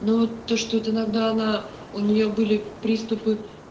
ну вот то что это иногда она у неё были приступы